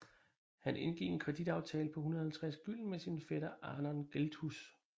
Han indgik en kreditaftale på 150 Gylden med sin fætter Arnold Gelthus